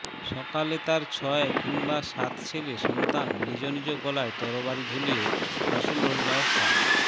সকালে তার ছয় কিংবা সাতছেলে সন্তান নিজ নিজ গলায় তরবারি ঝুলিয়ে রাসূলুল্লাহ সা